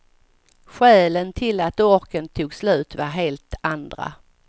Skälen till att orken tog slut var helt andra.